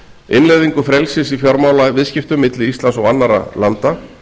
innleiðingu frelsis í fjármálaviðskiptum milli íslands og annarra landa